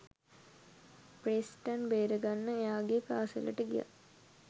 Preston බේරගන්න එයාගේ පාසැලට ගියත්.